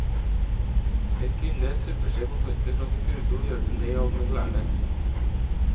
En kvinne subber seg på føttene fra sin kurvstol og hjelper meg av med klærne.